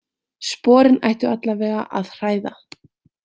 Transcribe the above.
Sporin ættu allavega að hræða.